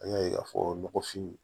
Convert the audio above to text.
An y'a ye k'a fɔ nɔgɔfin